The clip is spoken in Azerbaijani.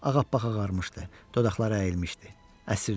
Ağapağ ağarmışdı, dodaqları əyilmişdi, əsirdi.